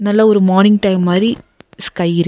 நல்ல ஒரு morning time மாரி ஸ்கை இருக்--